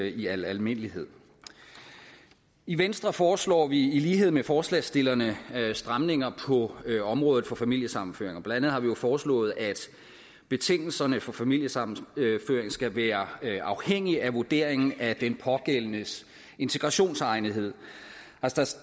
i al almindelighed i venstre foreslår vi i lighed med forslagsstillerne stramninger på området for familiesammenføring blandt andet har vi jo foreslået at betingelserne for familiesammenføring skal være afhængige af vurderingen af den pågældendes integrationsegnethed